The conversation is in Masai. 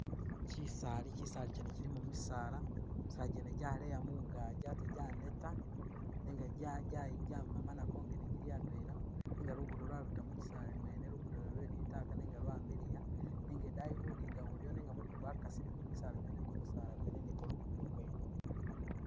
Kisaali, kisaali kyene kilimo misaala, misaala gyene gyaleya mungaji ate gyaneta nenga jayi jayi jamemana kwongene gili adwela. Luguudo lwabita mu kisaali mwene, luguudo lwene lwe litaaka nenga idaayi budinga buliyo nenga mumu gwakasileko mu kisaali mwene, ku misaala kwene ni ku luguudo kwene.